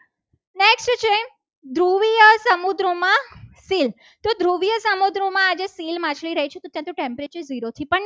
શીલ ધ્રુવીય સમુદ્રોમાં આજે શીલ માછલી રહે છે. ત્યાં તો temperature જીરો થી પણ